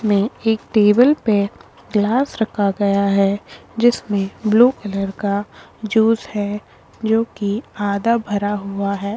मे एक टेबल पे ग्लास रखा गया है जिसमें ब्लू कलर का जूस है जो कि आधा भरा हुआ है।